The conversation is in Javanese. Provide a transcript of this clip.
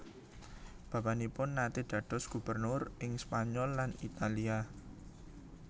Bapanipun nate dados gubernur ing Spanyol lan Italia